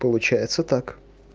получается так